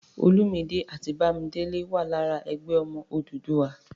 Olúmidé àti Bọ́láńlé wà lára "Ẹgbẹ́ Ọmọ Odùduwà."